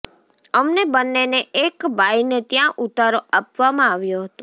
અમને બંનેને એક બાઈને ત્યાં ઉતારો આપવામાં આવ્યો હતો